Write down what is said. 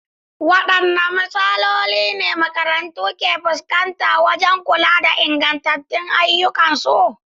Wadanne matsaloli ne makarantu ke fuskanta wajen kula da inganta ayyukansu?